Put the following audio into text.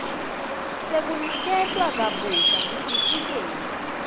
sekuniketwa kabusha sitifiketi